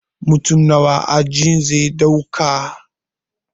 Mutum nawa ajin zai ɗauka